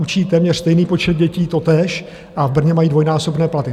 Učí téměř stejný počet dětí totéž a v Brně mají dvojnásobné platy.